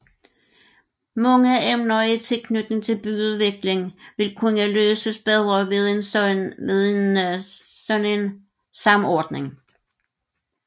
Mange emner i tilknytning til byudvikling vil kunne løses bedre ved en sådan samordning